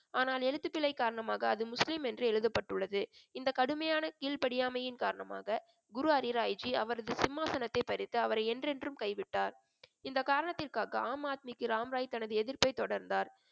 ஆனால் எழுத்துக்களை காரணமாக அது முஸ்லிம் என்று எழுதப்பட்டுள்ளது இந்த கடுமையான கீழ்படியாமையின் காரணமாக குரு ஹரிராய்ஜி அவரது சிம்மாசனத்தை பறித்து அவரை என்றென்றும் கைவிட்டார் இந்த காரணத்திற்காக ஆம் ஆத்மிக்கு ராம்ராய் தனது எதிர்ப்பை தொடர்ந்தார்